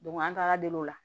an taara deli o la